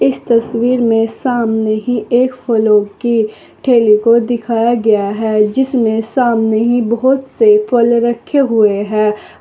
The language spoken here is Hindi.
इस तस्वीर में सामने ही एक फलों के ठेले को दिखाया गया है जिसमें सामने बहोत से फल रखे हुए हैं।